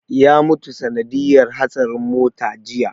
Ya mutu sanadiyar hatsarin mota jiya